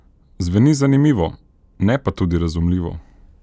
Zveni zanimivo, ne pa tudi razumljivo.